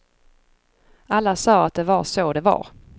Alla sa att det var så det var.